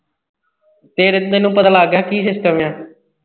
ਫਿਰ ਤੈਨੂੰ ਪਤਾ ਲੱਗ ਗਿਆ ਕੀ system ਆ